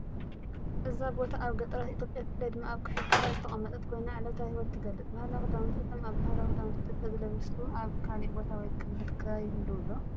እዛ ቦታ ኣብ ገጠራት ኢትዮጵያ ብፍላይ ድማ ኣብ ክልል ትግራይ ዝተቐመጠት ኮይና ዕለታዊ ህይወት ትገልጽ። ባህላዊ ክዳውንቲ፦ እቶም ኣብ ባህላዊ ክዳውንቲ ኢትዮጵያ ዝለበሱኣብ ካሊእ ቦታ ወይ ክልል ከ ይህልው ዶ?